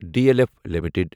D L F limited